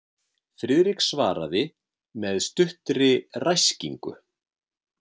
Friðrik svaraði með stuttri ræskingu.